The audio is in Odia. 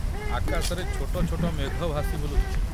ଆକାଶରେ ଛୋଟ ଛୋଟ ମେଘ ଭାସି ବୁଲୁଥିଲେ।